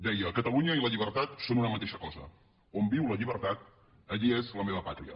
deia catalunya i la llibertat són una mateixa cosa on viu la llibertat allí és la meva pàtria